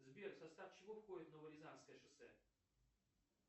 сбер в состав чего входит новорязанское шоссе